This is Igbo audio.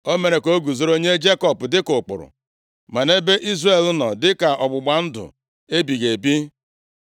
O mere ka o guzoro nye Jekọb dịka ụkpụrụ, ma nʼebe Izrel nọ dịka ọgbụgba ndụ ebighị ebi: